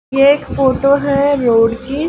ये एक फोटो है रोड की--